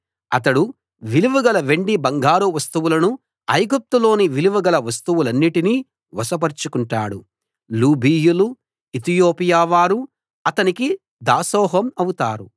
అతడు విలువగల వెండి బంగారు వస్తువులను ఐగుప్తులోని విలువ గల వస్తువులన్నిటిని వశపరచుకుంటాడు లూబీయులు ఇతియోపియా వారు అతనికి దాసోహం అవుతారు